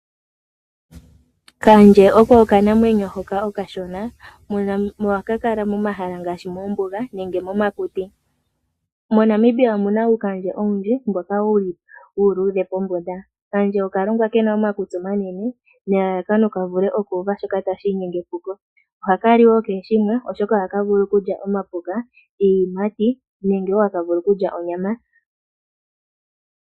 Kaandje oko okanamwenyo hoko okashona nohaka kala momahala ngaashi moombuga nenge momakuti . MoNamibia omuna uukandje owundji mboka wuli uuludhe pombunda . Okaandje oka longwa kena omakutsi omanene nelalakano kavule oku uva shoka inyenge epuko . Oha kali wo keeshimwe oshoka oha kavulu okulya omapuka , iiyimati nenge wo hakavulu okulya onyama.